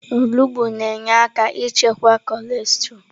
Onugbu na-enyere aka ịchịkwa cọlesterọ.